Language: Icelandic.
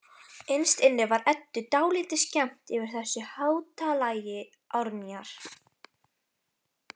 Innst inni var Eddu dálítið skemmt yfir þessu háttalagi Árnýjar.